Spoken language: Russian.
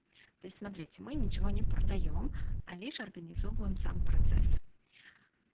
то есть смотрите мы ничего не продаём а лишь организовываем сам процесс